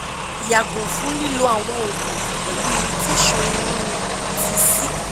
yago fun lilo awọn oogun pẹlu irritation iru ti c